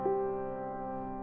og